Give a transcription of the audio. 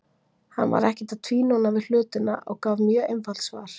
Hann var ekkert að tvínóna við hlutina og gaf mjög einfalt svar.